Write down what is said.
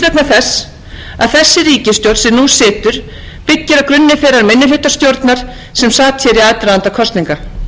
þess að þessi ríkisstjórn sem nú situr byggir á grunni þeirrar minnihlutastjórnar sem sat hér í aðdraganda kosninga